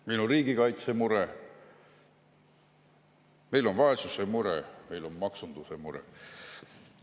Meil on riigikaitse mure, meil on vaesuse mure, meil on maksunduse mure.